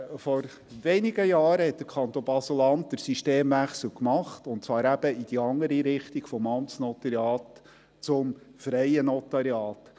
Vor wenigen Jahren hat der Kanton Basel-Land den Systemwechsel gemacht, und zwar eben in die andere Richtung: vom Amtsnotariat zum freien Notariat.